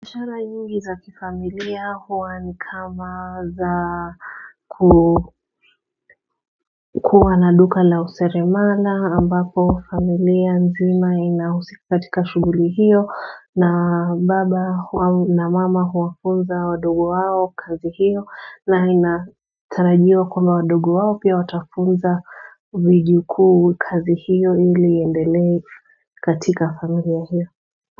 Biashara nyingi za kifamilia huwa ni kama za kukua na duka la useremala ambapo familia nzima inahusika katika shuguli hiyo na baba na mama huwafunza wadogo wao kazi hiyo na inatarajiwa kwamba wadogo wao pia watafunza vijuku kazi hiyo ili iendelee to katika familia hiyo.